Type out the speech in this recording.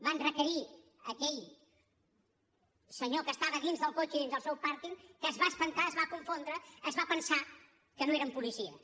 van requerir a aquell senyor que estava dins del cotxe i dins del seu pàrquing que es va espantar es va confondre es va pensar que no eren policies